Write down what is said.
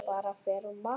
Bára fer að vakna.